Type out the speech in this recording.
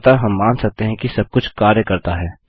अतः हम मान सकते हैं कि सबकुछ कार्य करता है